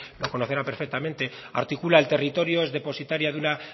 lo conocerán perfectamente articula el territorio es depositaria de una